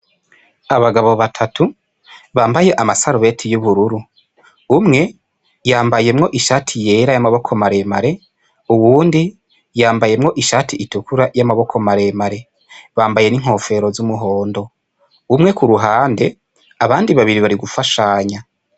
Abagabo batatu bambaye amasarubeti y'ubururu, umwe yambayemwo ishati yera y'amaboko maremare, uwundi yambayemwo ishati itukura y'amaboko maremare, bambaye n'inkofero z'umuhondo, umwe ku ruhande abandi babiri bari gufashanya.